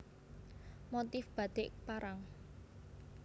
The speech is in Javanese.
Motif Batik Parang